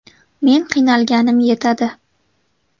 Men qiynalganim yetadi.